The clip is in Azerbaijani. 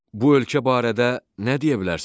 Bu ölkə barədə nə deyə bilərsiz?